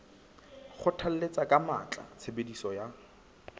kgothalletsa ka matla tshebediso ya